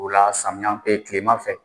O la samiya tilema fɛ